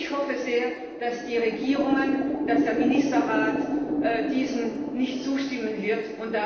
Ich hoffe sehr, dass die Regierungen und der Ministerrat diesem nicht zustimmen werden.